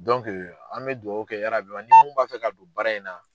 an bɛ duwawu kɛ yarabiyama ni mun b'a fɛ ka don baara in na